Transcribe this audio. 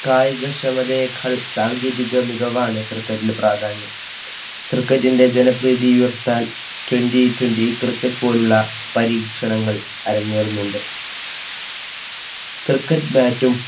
കായിക ക്ഷമതയെക്കാൾ സാങ്കേതിക മികവാണ് cricket പ്രാധാന്യം. cricket ന്റെജനപ്രീതി ഉയർത്താൻ Twenty twenty cricket പോലുള്ള പരീക്ഷണങ്ങൾ അരങ്ങേറുന്നുണ്ട്. cricket bat